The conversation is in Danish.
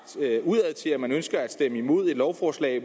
udadtil nemlig at man ønsker at stemme imod et lovforslag